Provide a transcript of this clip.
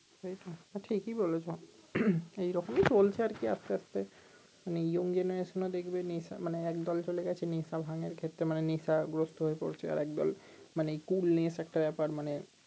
সেই তো ঠিকই বলেছো এই রকমই চলছে আর কি আস্তে আস্তে মানে young genaretion ও দেখবে নেশা মানে এক দলে চলে গেছে নেশা ভাঙ এর ক্ষেত্রে মানে নেশা গ্রস্ত হয়ে পড়ছে একদল মানে coolness একটা ব্যাপার মানে